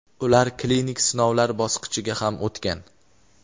ular klinik sinovlar bosqichiga ham o‘tgan.